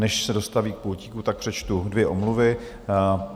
Než se dostaví k pultíku, tak přečtu dvě omluvy.